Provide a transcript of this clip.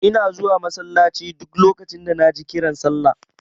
Ina zuwa masallaci duk lokacin da naji kiran sallah.